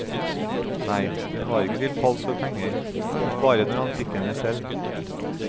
Nei, den var ikke til fals for penger, men bare når han fikk henne selv.